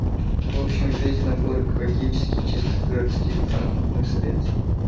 в общем весь набор экологически чистых городских транспортных средств